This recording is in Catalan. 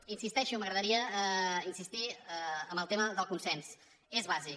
hi insisteixo m’agradaria insistir en el tema del consens és bàsic